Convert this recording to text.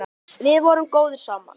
Við vorum góðir saman.